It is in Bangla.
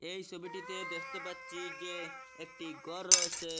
এই সোবিটিতে দেখতে পাচ্ছি যে একটি গর রয়েসে।